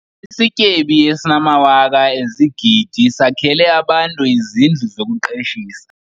Isityebi esinamawaka ezigidi sakhele abantu izindlu zokuqeshisa.